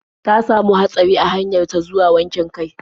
Ta samu hatsari a hanyar ta zuwa wankin kai.